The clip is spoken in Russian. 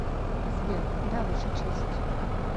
сбер да ваша честь